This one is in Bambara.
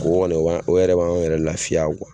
O kɔni o b'an o yɛrɛ b'anw yɛrɛ laafiya